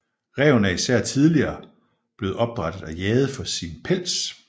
Ræven er især tidligere blevet opdrættet og jaget for sin pels